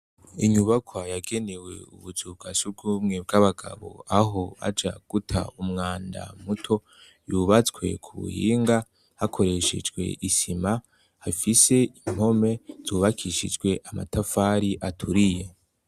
Inyubakwa yagenewe ubuzu bwa surwumwe bw'abagabo aho baja guta umwanda muto, yubatswe ku buhinga hakoreshejwe isima, hafise impome zubakishijwe amatafari aturiye.